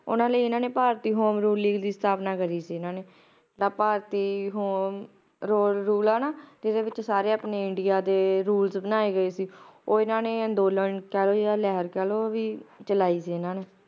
ਓਹਨਾ ਨੇ ਇਹਨਾਂ ਨੇ ਭਾਰਤੀ Home Rule League ਦੀ ਸਥਾਪਨਾ ਕਰੀ ਸੀ ਇਹਨਾਂ ਨੇ ਜਿੱਦਾਂ ਭਾਰਤੀ Home Rule ਆ ਨਾ ਜਿਹੜੇ ਵਿਚ ਸਾਰੇ ਆਪਣੇ india ਦੇ Rule ਬਣਾਏ ਗਏ ਸੀ ਉਹ ਇਹਨਾਂ ਨੇ ਅੰਦੋਲਨ ਕਹਿਲੋ ਜਾ ਲਹਿਰ ਕਹਿਲੋ ਚਲਾਈ ਸੀ ਇਹਨਾਂ ਨੇ